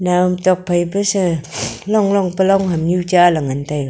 naw am tokphai te se long long pe longham nyu cha le ngan taiga.